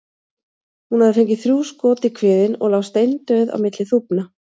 Hún hafði fengið þrjú skot í kviðinn og lá steindauð á milli þúfna.